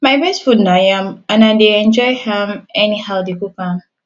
my best food na yam and i dey enjoy am anyhow dey cook am